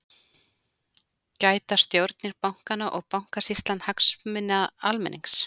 Gæta stjórnir bankanna og Bankasýslan hagsmuna almennings?